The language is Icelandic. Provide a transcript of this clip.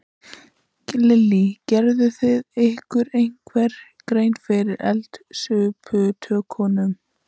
Lillý: Gerið þið ykkur einhverja grein fyrir eldsupptökum?